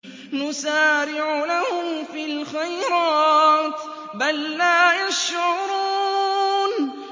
نُسَارِعُ لَهُمْ فِي الْخَيْرَاتِ ۚ بَل لَّا يَشْعُرُونَ